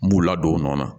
N b'u ladon o nɔ na